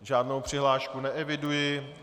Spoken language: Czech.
Žádnou přihlášku neeviduji.